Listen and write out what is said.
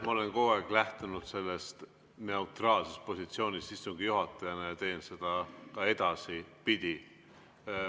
Ma olen kogu aeg lähtunud neutraalsest positsioonist istungi juhatajana ja teen seda ka edaspidi.